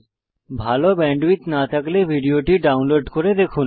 ভাল ব্যান্ডউইডথ না থাকলে ভিডিওটি ডাউনলোড করে দেখুন